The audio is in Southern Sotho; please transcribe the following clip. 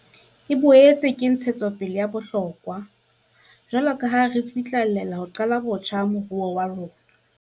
E boetse ke ntshetsopele ya bohlokwa jwaloka ha re tsitlallela ho qala botjha moruo wa rona.